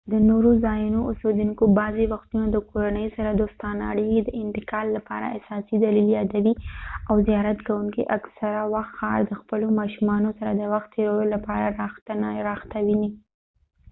د نورو ځایونو اوسیدونکي بعضې وختونه د کورنۍ سره دوستانه اړیکې د انتقال لپاره اساسي دلیل یادوي او زیارت کوونکي اکثره وخت ښار د خپلو ماشونو سره د وخت تیرولو لپاره راحته ویني